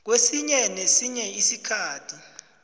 kwesinye nesinye isikhathi